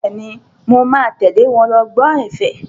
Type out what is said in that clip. Bẹ́ẹ̀ni, mo máa tẹ̀lé wọn lọ gbọ́ ẹ̀fẹ̀.